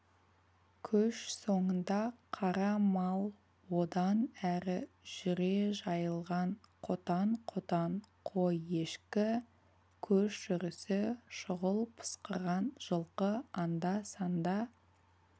көш соңында қара мал одан әрі жүре жайылған қотан-қотан қой-ешкі көш жүрісі шұғыл пысқырған жылқы анда-санда